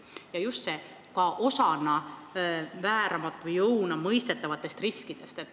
Küsimusi tekitab just see "ka osale vääramatu jõuna mõistetavatest riskidest".